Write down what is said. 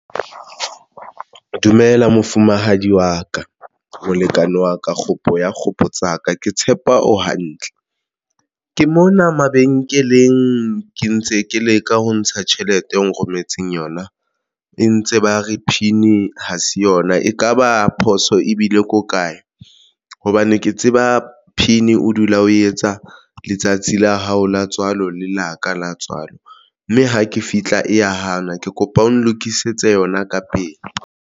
Dumela mofumahadi wa ka molekane wa ka kgopo ya kgopo tsaka ke tshepa o hantle, ke mona mabenkeleng, ke ntse ke leka ho ntsha tjhelete eo o nrometseng yona e ntse ba re PIN ha se yona ekaba phoso ebile ko kae hobane ke tseba PIN o dula o etsa letsatsi la hao la tswalo le la ka la tswalo mme ha ke fihla e ya hana ke kopa o nlokisetse yona ka pele.